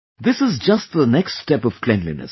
This is just the next step of cleanliness